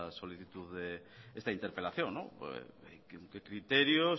solicitud esta interpelación qué criterios